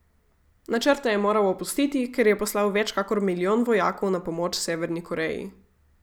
Načrte je moral opustiti, ker je poslal več kakor milijon vojakov na pomoč Severni Koreji.